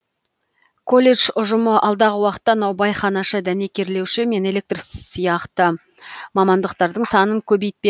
колледж ұжымы алдағы уақытта наубайханашы дәнекерлеуші мен электр сияқты мамандықтардың санын көбейтпек